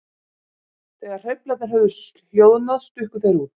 Þegar hreyflarnir höfðu hljóðnað stukku þeir út.